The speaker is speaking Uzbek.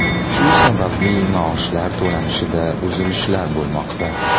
Shu sababli maoshlar to‘lanishida uzilishlar bo‘lmoqda.